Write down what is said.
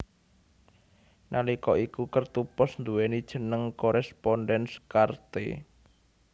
Nalika iku kertu pos nduwéni jeneng Correspondenz Karte